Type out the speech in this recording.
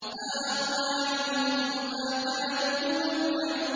مَا أَغْنَىٰ عَنْهُم مَّا كَانُوا يُمَتَّعُونَ